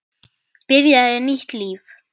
Byrjaði nýtt líf.